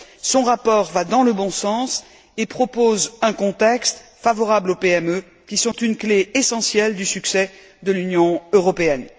Son rapport va dans le bon sens et propose un contexte favorable aux PME, qui sont une clé essentielle du succès de l'Union européenne.